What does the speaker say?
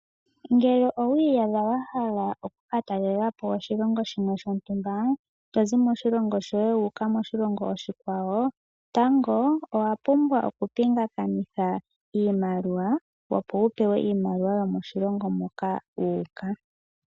Ngele owi iyadha wa hala oku ka talela po oshilongo shimwe shontumba, tozi moshilongo shoye wu uka moshilongo oshikwawo, tango owa pumbwa oku pingakanitha iimaliwa, opo wu pewe iimaliwa yomoshilongo moka wu uka.